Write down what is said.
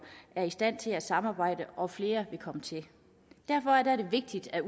er i stand til at samarbejde og flere vil komme til derfor er det vigtigt at